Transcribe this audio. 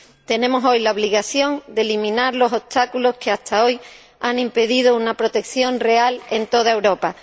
Tenemos hoy la obligación de eliminar los obstáculos que hasta ahora han impedido una protección real en toda Europa.